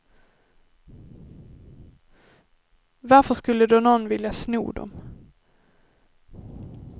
Varför skulle då nån vilja sno dem?